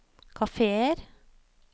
kafeer